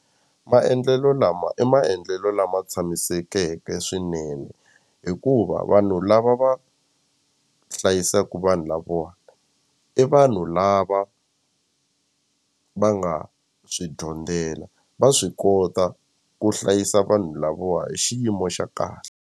Maendlelo lama i maendlelo lama tshamisekeke swinene hikuva vanhu lava va hlayisaku vanhu lavawa i vanhu lava va nga swi dyondzela va swi kota ku hlayisa vanhu lavawa hi xiyimo xa kahle.